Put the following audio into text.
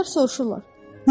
Onlar soruşurlar: